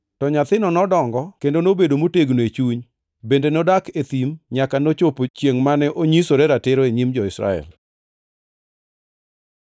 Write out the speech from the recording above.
To nyathino nodongo kendo nobedo motegno e chuny; bende nodak e thim nyaka nochopo chiengʼ mane onyisore ratiro e nyim Israel.